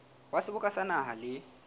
wa seboka sa naha le